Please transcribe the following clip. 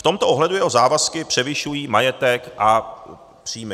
V tomto ohledu jeho závazky převyšují majetek a příjmy.